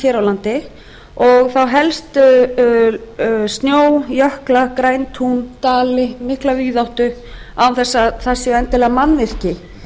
á landi og þá helst snjó jökla græn tún dali mikla víðáttu án þess að þar séu endilega mannvirki